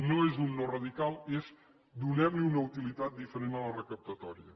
no és un no radical és donem li una utilitat diferent de la recaptatòria